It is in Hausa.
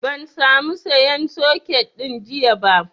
Ban sa mu sayan soket ɗin jiya ba